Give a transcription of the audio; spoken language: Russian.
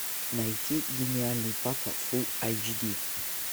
найти гениальный папа фулл эйч ди